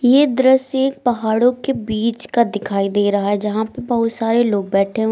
ये दृश्य एक पहाड़ों के बीच का दिखाई दे रहा है जहां पे बोहोत सारे लोग बैठे हुए --